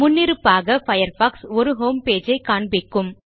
முன்னிருப்பாக பயர்ஃபாக்ஸ் ஒரு ஹோம்பேஜ் ஐ காண்பிக்கும்